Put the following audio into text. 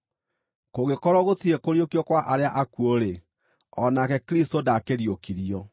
Kũngĩkorwo gũtirĩ kũriũkio kwa arĩa akuũ-rĩ, o nake Kristũ ndaakĩriũkirio.